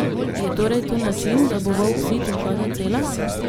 Je torej to način, da bo volk sit in koza cela?